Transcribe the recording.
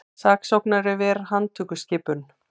Saksóknari ver handtökuskipun